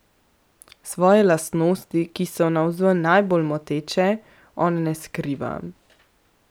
Svoje lastnosti, ki so navzven najbolj moteče, on ne skriva.